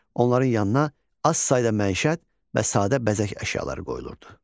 Onların yanına az sayda məişət və sadə bəzək əşyaları qoyulurdu.